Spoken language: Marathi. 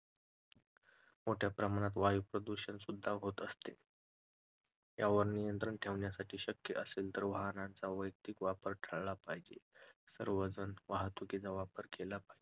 मोठ्या प्रमाणात वायू प्रदूषण सुद्धा होत आहे, यावर नियंत्रण ठेवण्यासाठी शक्य असेल तर वाहनाचा वैयक्तिक वापर टाळला पाहिजे, सार्वजनिक वाहतुकीचा वापर केला पाहिजे.